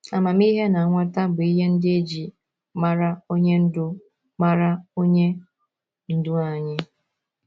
Amamihe na nghọta bụ ihe ndị e ji mara Onye Ndú mara Onye Ndú anyị.